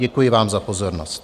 Děkuji vám za pozornost.